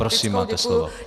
Prosím, máte slovo.